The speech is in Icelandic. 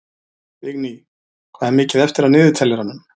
Vigný, hvað er mikið eftir af niðurteljaranum?